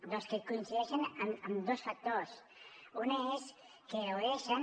doncs que coincideixen amb dos factors un és que gaudeixen